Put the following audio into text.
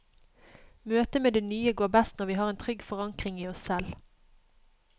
Møtet med det nye går best når vi har en trygg forankring i oss selv.